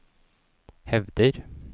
hevder